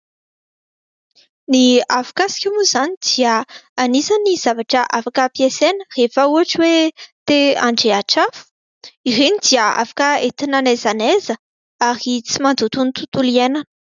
Ny afokasika moa izany dia anisan'ny zavatra afaka hampiasaina rehefa ohatra hoe te handrehitra afo. Ireny dia afaka entina na aiza na aiza ary tsy mandoto ny tontolo iainana.